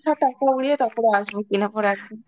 সব টাকা উড়িয়ে তারপর আসবো কিনার পর একদম.